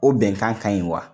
O bɛnkan ka ɲi wa?